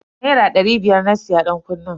Naira dari biyar na siya dankunnen.